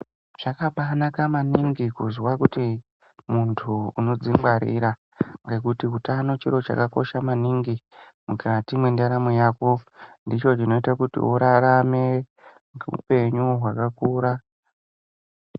Zvakabanaka maningi kuzwa kuti muntu unodzi ngwarira ngekutiutano chiro chakakosha maningi mukati mwendaramo yako ndicho chinoita kuti urarame upenyu hwakakura.